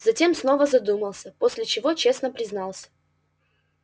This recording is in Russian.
затем снова задумался после чего честно признался